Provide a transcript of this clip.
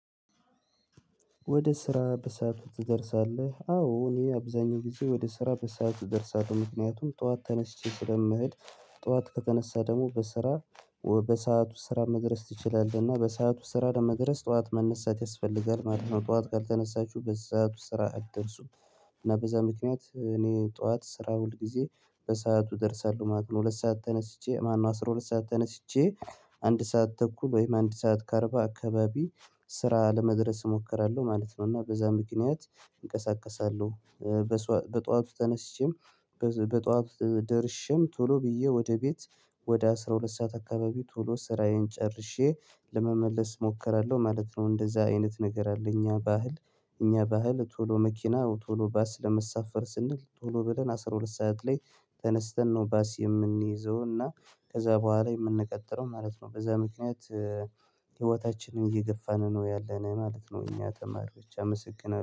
ወደ ስራ በሰአቱ ትደርሳለህ? አዎ እኔ አብዛኛው ጊዜ ወደ ስራ በሰአቱ እደርሳለህ ምክንያቱም ጠዋት ተነስቼ ስለምሄድ። ጠዋት ከተነሳ ደግሞ በስራ በሰአቱ ስራ መድረስ ትችላለህ እና በሰአቱ ስራ ለመድረስ ጠዋት መነሳት ያስፈልጋል ማለት ነው። ጠዋት ካልተነሳችሁ በሰአቱ ስራ አትደርሱም። እና በዛ ምክንያት እኔ ጠዋት ስራ ሁል ጊዜ በሰአቱ ደርሳለሁ ማለት ነው። ሁለት ሰዓት ተነስቼ ማነው? አስራ ሁለት ሰዓት ተነስቼ አንድ ሰዓት ተኩል ወይም አንድ ሰዓት ከ አርባ አካባቢ ስራ ለመድረስ እሞክራለሁ ማለት ነው። እና በዛ ምክንያት እንቀሳቀሳለሁ። በጧቱ ተነስቼም በጧቱ ደርሼም ቶሎ ብዬ ወደ ቤት። ወደ አስራ ሁለት ሰዓት አካባቢ ቶሎ ስራዬን ጨርሼ ለመመለስ እሞክራለሁ ማለት ነው። እንደዛ አይነት ነገር አለ። እኛ ባህል እኛ ባህል ቶሎ መኪና ቶሎ ባስ ለመሳፈር ስንል ቶሎ ብለን አስራ ሁለት ሰዓት ላይ ተነስተን ነው ባስ የምንይዘው እና ከዛ በኋላ የምንቀጥለው ማለት ነው። በዛ ምክንያት ህይወታችንን እየገፋን ነው ያለነው ማለት ነው። እኛ ተማሪዎች አመሰግናለሁ